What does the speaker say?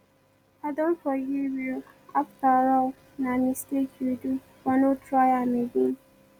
i don forgive you after all na mistake you do but no try am again